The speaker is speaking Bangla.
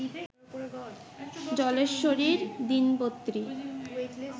জলেশ্বরীর দিনপত্রী